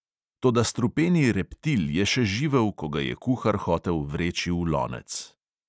Toda strupeni reptil je še živel, ko ga je kuhar hotel vreči v lonec.